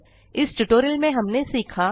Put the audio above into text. इस ट्यूटोरियल में हमने सीखा 1